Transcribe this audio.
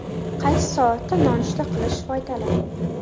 Qaysi soatda nonushta qilish foydali?.